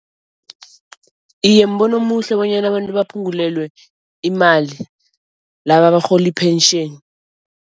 Iye, mbono omuhle bonyana abantu baphungulelwe imali, laba abarhola i-pension.